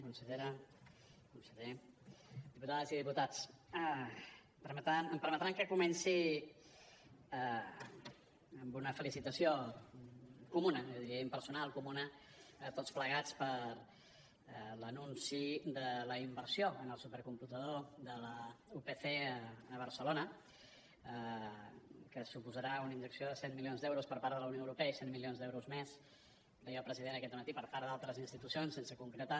consellera conseller diputades i diputats em permetran que comenci amb una felicitació comuna jo diria impersonal comuna a tots plegats per l’anunci de la inversió en el supercomputador de la upc a barcelona que suposarà una injecció de cent milions d’euros per part de la unió europea i cent milions d’euros més deia el president aquest dematí per part d’altres institucions sense concretar